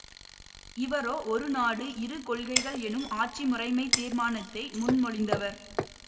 இவரோ ஒரு நாடு இரு கொள்கைகள் எனும் ஆட்சி முறைமைத் தீர்மானத்தை முன்மொழிந்தவர்